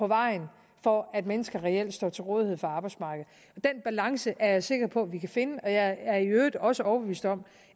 vejen for at mennesker reelt står til rådighed for arbejdsmarkedet den balance er jeg sikker på at vi kan finde og jeg er i øvrigt også overbevist om